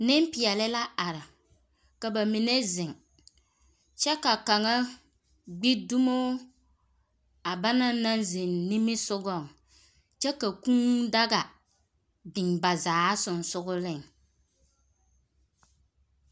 Nempeԑle la are, ka ba mine zeŋ kyԑ ka kaŋa gbi dumoo a ba naŋnaŋ zeŋ nimisogͻŋ, klyԑ ka kũũ daga biŋ ba zaa sensogeleŋ.